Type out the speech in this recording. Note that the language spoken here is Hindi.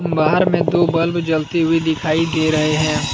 बाहर में दो बल्ब जलती हुई दिखाई दे रहे हैं।